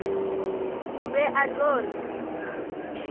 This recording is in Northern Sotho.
o be a tlo re